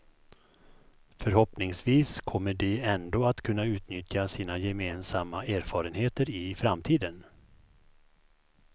Förhoppningsvis kommer de ändå att kunna utnyttja sina gemensamma erfarenheter i framtiden.